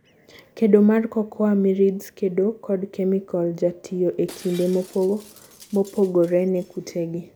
Kedo mar cocoa mirids: kedo kod chemical jatiyo e kinde mopogore ne kute gi